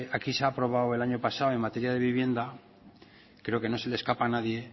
aquí se ha aprobado el año pasado en materia de vivienda creo que no se le escapa a nadie